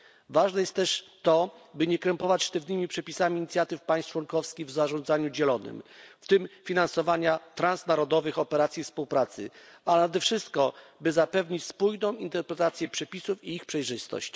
Ważne jest też to, by nie krępować sztywnymi przepisami inicjatyw państw członkowskich w zarządzaniu dzielonym, w tym finansowania transnarodowych operacji współpracy, a nade wszystko, by zapewnić spójną interpretację przepisów i ich przejrzystość.